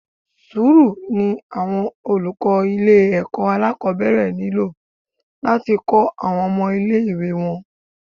Sùúrù ni àwọn olùkọ́ ilé ẹ̀kọ́ alákòbẹ̀rẹ̀ nílò láti kọ́ àwọn ọmọ ilé ìwé wọn.